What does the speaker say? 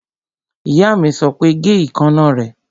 Ìyá mi sọ pé, Gé ìkaná rẹ!